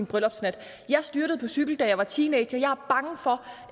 bryllupsnat at hun styrtede på cykel da hun var teenager og